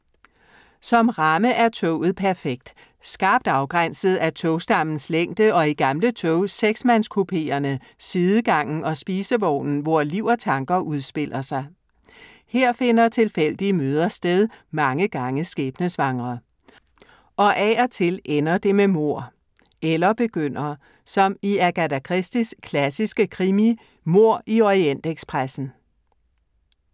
Som ramme er toget perfekt. Skarpt afgrænset af togstammens længde og i gamle tog, seksmandskupeerne, sidegangen og spisevognen, hvori liv og tanker udspiller sig. Her finder tilfældige møder sted, mange gange skæbnesvangre. Og af og til ender det med mord. Eller begynder. Som i Agatha Christies klassiske krimi Mord i Orientekspressen.